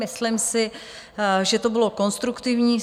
Myslím si, že to bylo konstruktivní.